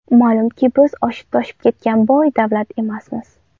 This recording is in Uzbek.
Ma’lumki, biz oshib-toshib ketgan boy davlat emasmiz.